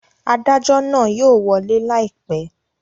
Adajọ naa yóò wọle laipẹ